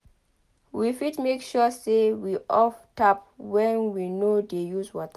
we fit make sure sey we off tap when we no dey use water